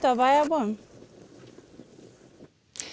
af bæjarbúum